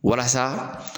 Walasa